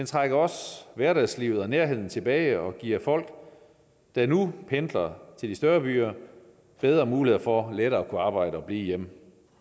trækker også hverdagslivet og nærheden tilbage og giver folk der nu pendler til de større byer bedre muligheder for lettere at kunne arbejde og blive hjemme